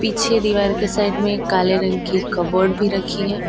पीछे दीवार के साइड में एक काले रंग की कबर्ड भी रखी है।